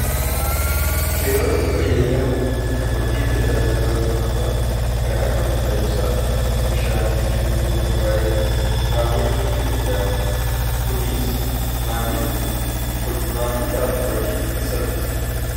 keeyozii fayyadamuun kafaltii tajaajilootaummata kan akka humna ibsa bishaanii fi bilbila ma baayila raawwachuu ni danda'ama kuniis maammilaaf hojii ni salphisa